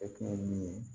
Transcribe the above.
E kun ye min ye